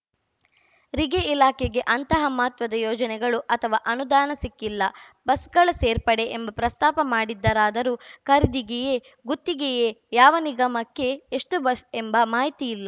ರಿಗೆ ಇಲಾಖೆಗೆ ಅಂತಹ ಮಹತ್ವದ ಯೋಜನೆಗಳು ಅಥವಾ ಅನುದಾನ ಸಿಕ್ಕಿಲ್ಲ ಬಸ್‌ಗಳ ಸೇರ್ಪಡೆ ಎಂಬ ಪ್ರಸ್ತಾಪ ಮಾಡಿದ್ದರಾದರೂ ಖರೀದಿಗೇಯೇ ಗುತ್ತಿಗೆಯೇ ಯಾವ ನಿಗಮಕ್ಕೆ ಎಷ್ಟುಬಸ್‌ ಎಂಬ ಮಾಹಿತಿ ಇಲ್ಲ